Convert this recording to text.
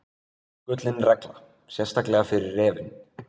Gullin regla, sérstaklega fyrir refinn.